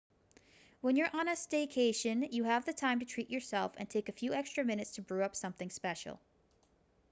when you're on a staycation you have the time to treat yourself and take a few extra minutes to brew up something special